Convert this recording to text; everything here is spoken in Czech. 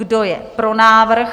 Kdo je pro návrh?